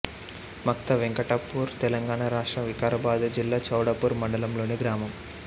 మక్త వెంకటాపూర్ తెలంగాణ రాష్ట్రం వికారాబాదు జిల్లా చౌడాపూర్ మండలం లోని గ్రామం